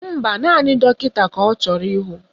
Mba, naanị dọkịta ka ọ chọrọ ịhụ